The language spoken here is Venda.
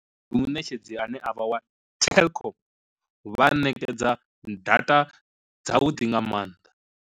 Ndi muṋetshedzi ane avha wa telkom, vha ṋekedza data dza vhuḓi nga maanḓa.